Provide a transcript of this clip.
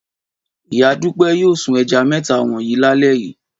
Ìyá Fọlá yóò sun ẹja mẹ́ta wọ̀nyí lálẹ́ yìí.